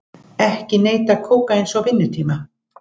Ekki neyta kókaíns á vinnutíma